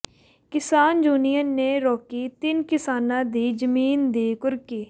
ਕਿਸਾਨ ਯੂਨੀਅਨ ਨੇ ਰੋਕੀ ਤਿੰਨ ਕਿਸਾਨਾਂ ਦੀ ਜ਼ਮੀਨ ਦੀ ਕੁਰਕੀ